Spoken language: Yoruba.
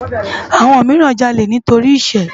Awòn mirán jàlé nitóri iṣë